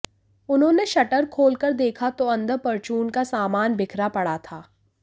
उन्होंने शटर खोल कर देखा तो अंदर परचून का सामान बिखरा पड़ा था